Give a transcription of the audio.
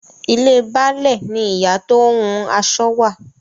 Ilé Baálẹ̀ ni ìyá tó ń hun aṣọ wà.